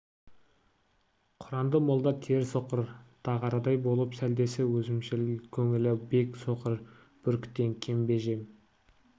құранды молда теріс оқыр дағарадай болып сәлдесі өзімшіл көңілі бек соқыр бүркіттен кем бе жем